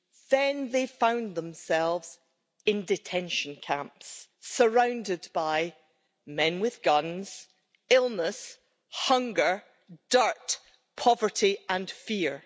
Then they found themselves in detention camps, surrounded by men with guns, by illness, hunger, dirt, poverty and fear.